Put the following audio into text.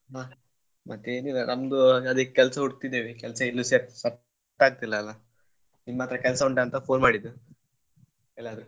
ಮ~ ಮತ್ತೆ ಏನು ಇಲ್ಲ ನಮ್ದು ಅದೇ ಕೆಲ್ಸ ಹುಡ್ಕ್ತಾಇದೀವಿ ಇನ್ನು ಸೆ~ ಸೆ~ set ಆಗ್ತಿಲ್ಲ ಅಲ್ಲ ನಿಮ್ ಹತ್ರ ಕೆಲ್ಸ ಉಂಟ ಅಂತ phone ಮಾಡಿದ್ ಎಲ್ಲಾದ್ರೂ.